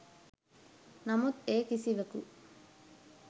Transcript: නමුත් ඒ කිසිවකු